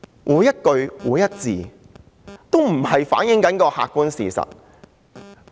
每一句、每一個字皆不是反映客觀事實。